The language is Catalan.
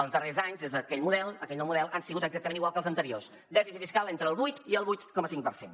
els darrers anys des d’aquell model aquell nou model han sigut exactament igual que els anteriors dèficit fiscal entre el vuit i el vuit coma cinc per cent